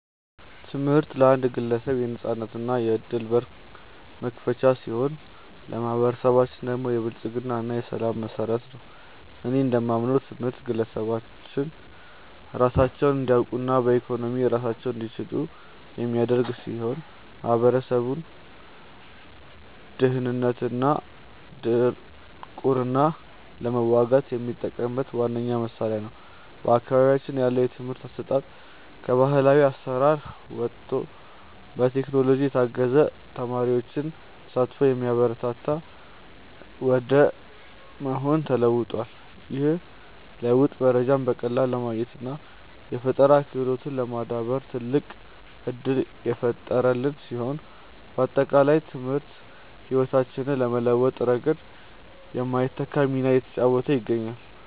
ትምህርት ለአንድ ግለሰብ የነፃነትና የዕድል በር መክፈቻ ሲሆን፣ ለማኅበረሰባችን ደግሞ የብልጽግና እና የሰላም መሠረት ነው። እኔ እንደማምነው ትምህርት ግለሰቦች ራሳቸውን እንዲያውቁና በኢኮኖሚ ራሳቸውን እንዲችሉ የሚያደርግ ሲሆን፣ ማኅበረሰቡም ድህነትንና ድንቁርናን ለመዋጋት የሚጠቀምበት ዋነኛው መሣሪያ ነው። በአካባቢያችን ያለው የትምህርት አሰጣጥም ከባሕላዊ አሠራር ወጥቶ በቴክኖሎጂ የታገዘና የተማሪዎችን ተሳትፎ የሚያበረታታ ወደ መሆን ተለውጧል። ይህ ለውጥ መረጃን በቀላሉ ለማግኘትና የፈጠራ ክህሎትን ለማዳበር ትልቅ ዕድል የፈጠረልን ሲሆን፣ ባጠቃላይ ትምህርት ሕይወታችንን በመለወጥ ረገድ የማይተካ ሚና እየተጫወተ ይገኛል።